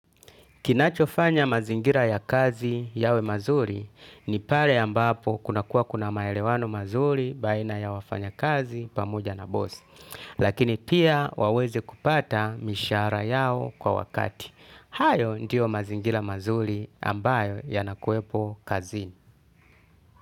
Kinachofanya mazingira ya kazi yawe mazuri ni pale ambapo kuna kuwa kuna maelewano mazuri baina ya wafanya kazi pamoja na boss. Lakini pia waweze kupata mishara yao kwa wakati. Hayo ndiyo mazingira mazuri ambayo yanakuepo kazini.